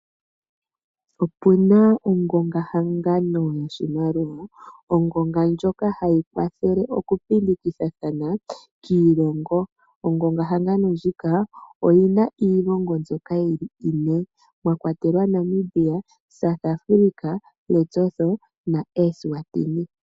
Opena ongonga-hangano yo shimaliwa , ongonga ndjoka hayi kwathele okupindi kithathana kiilongo , Ongonga hangano ndjika oyina iilongo mbyoka ine mwa kwatelwa Namibia, South Africa, Lesotho na Eswathin.